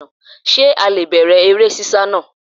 Sé a le è bẹ̀rẹ̀ eré sísá naa